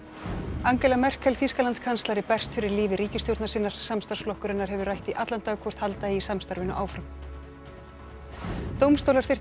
Angela Merkel Þýskalandskanslari berst fyrir lífi ríkisstjórnar sinnar samstarfsflokkur hennar hefur rætt í allan dag hvort halda eigi samstarfinu áfram dómstólar þyrftu að